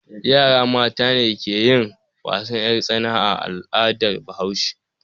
Yara mata ne ke yin wasan 'yartsana a al'adar Bahaushe.